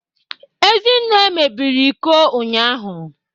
Ezinne mebiri iko ụnyahụ